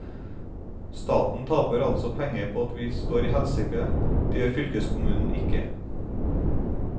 Staten taper altså penger på at vi står i helsekø, det gjør fylkeskommunen ikke.